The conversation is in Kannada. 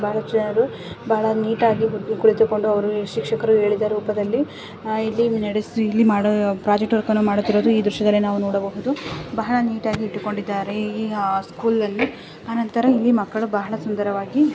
ಬಹಳ ನೀಟ್ ಆಗಿ ಕೊಡಿತುಕೊಂಡು ಅವರ ಶಿಕ್ಷಕರ ಹೇಳಿದ ರೂಪದಲ್ಲಿ ಇಲ್ಲಿ ಮೆಡಿಸಿ ಮಾಡು ಫ್ರಿಜೆಕ್ಟರ್ ಕೋಡ್ ಮಾಡಿ ಈ ದೃಶ್ ದಲ್ಲಿ ನಾವು ನೋಡಬಹುದು ಬಹಳ ನೀಟಾಗಿ ಇಟ್ಟಕೊಂಡಿದ್ದಾರೆ ಈ ಸ್ಕೂಲನ್ನು ಆನಂತರ ಮಕ್ಕಳ ಬಹಳ ಸುಂದರವಾಗಿ.